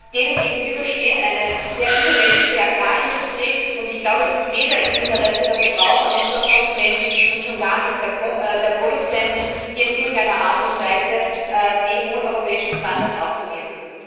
Denen gegenüber steht eine sehr übermächtige Agrarindustrie, und ich glaube, es ist weder im Interesse der Verbraucher noch der Konsumenten und schon gar nicht der Produzenten, hier in irgendeiner Art und Weise die hohen europäischen Standards aufzugeben.